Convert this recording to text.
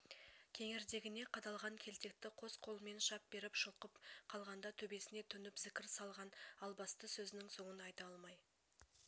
кеңірдегіне қадалған келтекті қос қолымен шап беріп жұлқып қалғанда төбесіне төніп зікір салған албасты сөзінің соңын айта алмай